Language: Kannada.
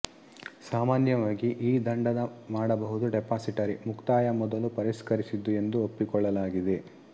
ಸಾಮಾನ್ಯವಾಗಿ ಈ ದಂಡದ ಮಾಡಬಹುದು ಡಿಪಾಸಿಟರಿ ಮುಕ್ತಾಯ ಮೊದಲು ಪರಿಷ್ಕರಿಸಿದ್ದು ಎಂದು ಒಪ್ಪಿಕೊಳ್ಳಲಾಗಿದೆ